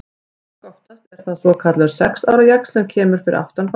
Langoftast er það svokallaður sex ára jaxl sem kemur fyrir aftan barnatennurnar.